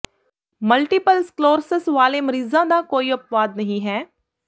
multiple sclerosis ਵਾਲੇ ਮਰੀਜ਼ਾਂ ਦਾ ਕੋਈ ਅਪਵਾਦ ਨਹੀਂ ਹੈ